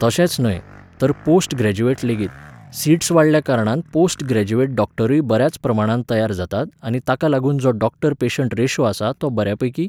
तशेंच न्हय, तर पोस्ट ग्रॅज्युयेट लेगीत, सिट्स वाडयल्या कारणान पोस्ट ग्रॅज्युयेट डॉक्टरूय बऱ्याच प्रमाणांत तयार जातात आनी ताका लागून जो डॉक्टर पेशन्ट रेश्यो आसा तो बऱ्यापैकी